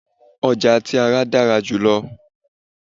ọja ti ara dara julọ